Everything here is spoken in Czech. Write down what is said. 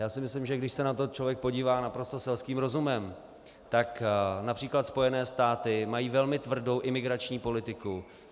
Já si myslím, že když se na to člověk podívá naprosto selským rozumem, tak například Spojené státy mají velmi tvrdou imigrační politiku.